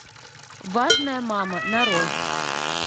важная мама нарой